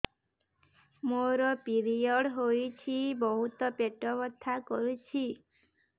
ମୋର ପିରିଅଡ଼ ହୋଇଛି ବହୁତ ପେଟ ବଥା କରୁଛି